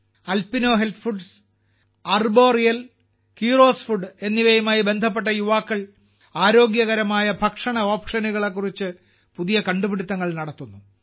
Alpino health foods Arboreal കീറോസ് food എന്നിവയുമായി ബന്ധപ്പെട്ട യുവാക്കൾ ആരോഗ്യകരമായ ഭക്ഷണ ഓപ്ഷനുകളെക്കുറിച്ച് പുതിയ കണ്ടുപിടുത്തങ്ങൾ നടത്തുന്നു